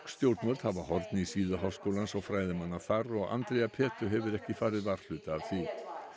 stjórnvöld hafa horn í síðu háskólans og fræðimanna þar og Andrea hefur ekki farið varhluta af því